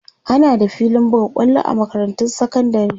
ana da filin buga kwallo a makarantun sekandari